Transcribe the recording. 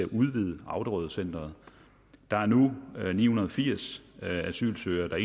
udvide auderødcentret der er nu ni hundrede og firs asylsøgere